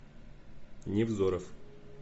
невзоров